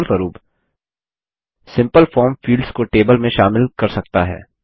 उदाहरणस्वरूप simple form fields को table में शामिल कर सकता है